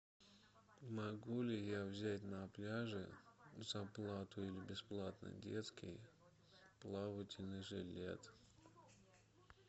могу ли я взять на пляже за плату или бесплатно детский плавательный жилет